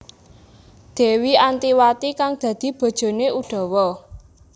Dewi Antiwati kang dadi bojoné Udawa